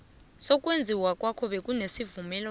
sokwenziwa kwawo bekunesivumelwano